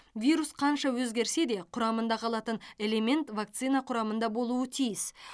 вирус қанша өзгерсе де құрамында қалатын элемент вакцина құрамында болуы тиіс